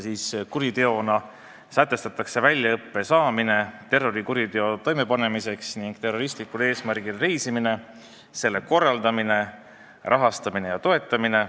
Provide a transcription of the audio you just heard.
Kuriteona sätestatakse väljaõppe saamine terrorikuriteo toimepanemiseks ning terroristlikul eesmärgil reisimine, selle korraldamine, rahastamine ja toetamine.